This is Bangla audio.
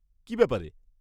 কী ব্যাপারে?